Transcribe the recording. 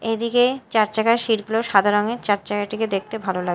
এইদিকে চার চাকার সিট -গুলো সাদা রঙের চার চাকাটিকে দেখতে ভালো লা--